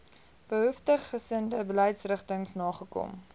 behoeftiggesinde beleidsrigtings nagekom